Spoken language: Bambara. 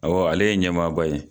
Awɔ ale ye ɲɛmaaba ye.